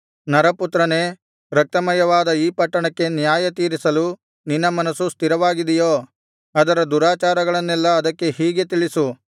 ನರಪುತ್ರನೇ ರಕ್ತಮಯವಾದ ಆ ಪಟ್ಟಣಕ್ಕೆ ನ್ಯಾಯತೀರಿಸಲು ನಿನ್ನ ಮನಸ್ಸು ಸ್ಥಿರವಾಗಿದೆಯೋ ಅದರ ದುರಾಚಾರಗಳನ್ನೆಲ್ಲಾ ಅದಕ್ಕೆ ಹೀಗೆ ತಿಳಿಸು